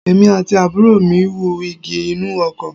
Èmi àti àbúrò mi wú igi inú oko